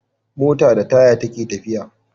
Mota da taya take tafiya